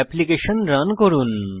application run করুন